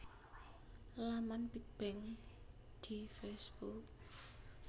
Laman Big Bang di Facebook